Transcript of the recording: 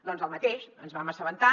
doncs el mateix ens en vam assabentar